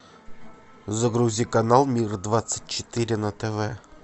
загрузи канал мир двадцать четыре на тв